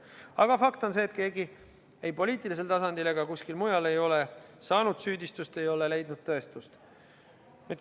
Aga fakt on see, et mitte keegi ei poliitilisel tasandil ega kuskil mujal ei ole saanud süüdistust, ei ole leidnud tõestust.